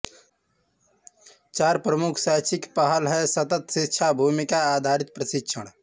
चार प्रमुख शैक्षिक पहल हैं सतत शिक्षा भूमिका आधारित प्रशिक्षण